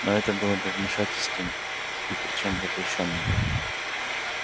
но это было бы вмешательством и причём запрещённым